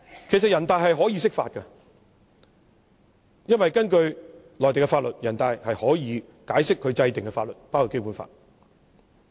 全國人大可以釋法，因為根據內地的法律，全國人大可以解釋其制定的法律，包括《基本法》。